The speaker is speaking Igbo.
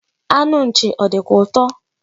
Anụ nchi o dikwa uto?